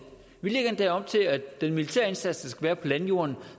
vi lægger endda op til at den militære indsats være på landjorden